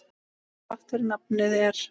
Þrátt fyrir nafnið er.